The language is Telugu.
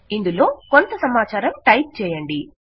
ఇందులో కొంత సమాచారం టైప్ చేయండి